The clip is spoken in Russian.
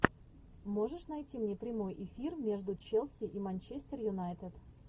можешь найти мне прямой эфир между челси и манчестер юнайтед